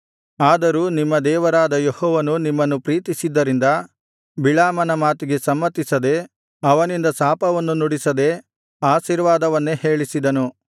ಆದರೂ ನಿಮ್ಮ ದೇವರಾದ ಯೆಹೋವನು ನಿಮ್ಮನ್ನು ಪ್ರೀತಿಸಿದ್ದರಿಂದ ಬಿಳಾಮನ ಮಾತಿಗೆ ಸಮ್ಮತಿಸದೆ ಅವನಿಂದ ಶಾಪವನ್ನು ನುಡಿಸದೆ ಆಶೀರ್ವಾದವನ್ನೇ ಹೇಳಿಸಿದನು